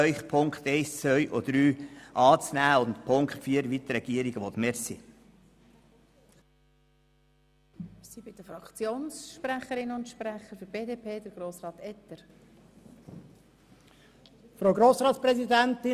Ich bitte Sie, die Ziffern 1 bis 3 anzunehmen und bezüglich Ziffer 4 dem Antrag der Regierung zu folgen, also Annahme und Abschreibung.